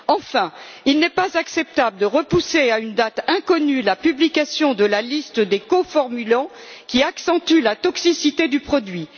Enfin, il n'est pas acceptable de repousser à une date inconnue la publication de la liste des coformulants qui accentuent la toxicité du produit.